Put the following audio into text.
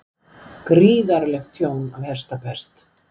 Gríðarlegt tjón af hestapest